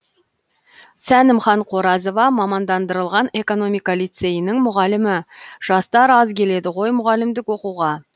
сәнімхан қоразова мамандандырылған экономика лицейінің мұғалімі жастар аз келеді ғой мұғалімдік оқуға